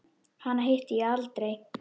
Hana hitti ég aldrei.